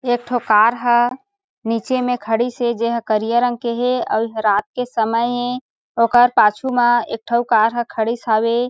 एक ठो कार ह नीचे में खडिस हे जे ह करिया रंग के हे अभी रात के समय हे ओकर पाछू मा एक ठे अउ कार ह खडिस हवे।